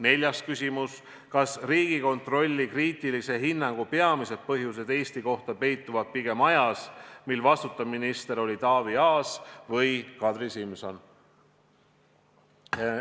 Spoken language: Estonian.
" Neljas küsimus: "Kas Riigikontrolli kriitilise hinnangu peamised põhjused Eesti kohta peituvad pigem ajas, mil vastutav minister oli Taavi Aas või Kadri Simson?